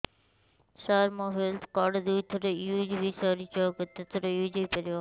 ସାର ମୋ health card ଦୁଇ ଥର ୟୁଜ଼ ହୈ ସାରିଛି ଆଉ କେତେ ଥର ୟୁଜ଼ ହୈ ପାରିବ